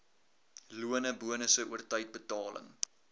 lone bonusse oortydbetaling